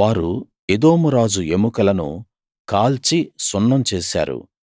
వారు ఎదోమురాజు ఎముకలను కాల్చి సున్నం చేశారు